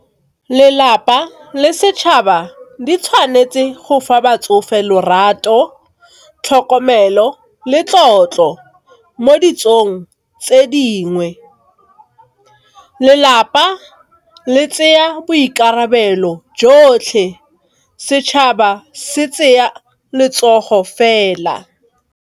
le setšhaba di tshwanetse go fa batsofe lorato, tlhokomelo, le tlotlo mo ditsong tse dingwe. Lelapa le tseya boikarabelo jotlhe, setšhaba se tsenya letsogo fela.